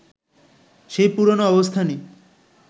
সেই পুরনো অবস্থানই